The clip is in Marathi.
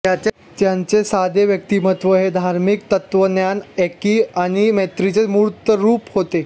त्यांचे साधे व्यक्तिमत्त्व हे धार्मिक तत्त्वज्ञान एकी आणि मैत्रीचे मूर्तरूप होते